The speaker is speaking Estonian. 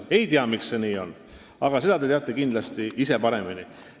Ei tea, miks see nii on, aga seda te teate kindlasti ise paremini.